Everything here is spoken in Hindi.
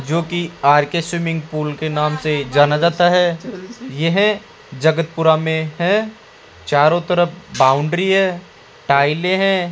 जोकि आर_के स्विमिंग पूल के नाम से जाना जाता है यह जगतपुरा में है चारों तरफ बाउंड्री है टाइले है।